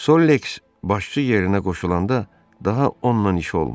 Sollex başçı yerinə qoşulanda daha onunla işi olmadı.